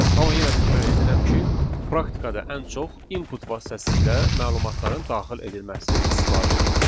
Amma yenə təkrar edirəm ki, praktikada ən çox input vasitəsilə məlumatların daxil edilməsi istifadə edilir.